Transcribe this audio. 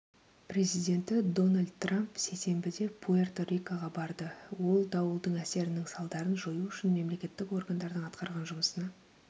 президенті дональд трамп сейсенбіде пуэрто-рикоға барды ол дауылдың әсерінің салдарын жою үшін мемлекеттік органдардың атқарған жұмысына